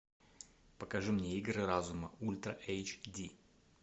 покажи мне игры разума ультра эйч ди